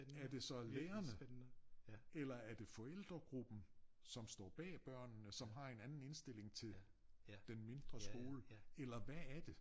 Er det så lærerne? Eller det forældregruppen som står bag børnene som har en anden indstilling til den mindre skole eller hvad er det?